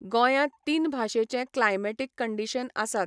गोंयांत तीन भाशेचे क्लायमॅटीक कंडीशन आसात.